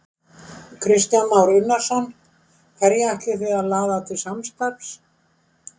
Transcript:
Kristján Már Unnarsson: Hverja ætlið þið að laða til samstarfs?